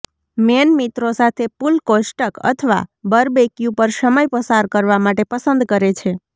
main મિત્રો સાથે pool કોષ્ટક અથવા બરબેકયુ પર સમય પસાર કરવા માટે પસંદ કરે છે